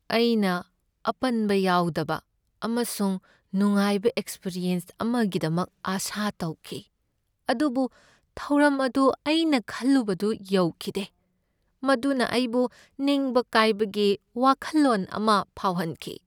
ꯑꯩꯅ ꯑꯄꯟꯕ ꯌꯥꯎꯗꯕ ꯑꯃꯁꯨꯡ ꯅꯨꯡꯉꯥꯏꯕ ꯑꯦꯛꯄꯔꯤꯑꯦꯟꯁ ꯑꯃꯒꯤꯗꯃꯛ ꯑꯥꯁꯥ ꯇꯧꯈꯤ, ꯑꯗꯨꯕꯨ ꯊꯧꯔꯝ ꯑꯗꯨ ꯑꯩꯅ ꯈꯜꯂꯨꯕꯗꯨ ꯌꯧꯈꯤꯗꯦ, ꯃꯗꯨꯅ ꯑꯩꯕꯨ ꯅꯤꯡꯕ ꯀꯥꯏꯕꯒꯤ ꯋꯥꯈꯜꯂꯣꯟ ꯑꯃ ꯐꯥꯎꯍꯟꯈꯤ꯫